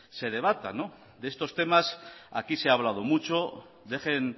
se debata de estos temas aquí se ha hablado mucho dejen